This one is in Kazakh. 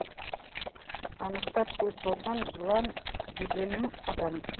анықтап көз салсам жылан дегенім адам